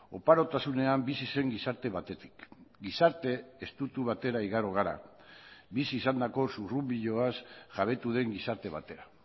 oparotasunean bizi zen gizarte batetik gizarte estutu batera igaro gara bizi izandako zurrunbiloaz jabetu den gizarte batera